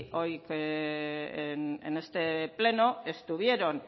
hoy en este pleno estuvieron